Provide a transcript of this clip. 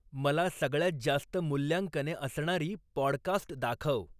मला सगळ्यात जास्त मुल्यांकने असणारी पॉडकास्ट दाखव.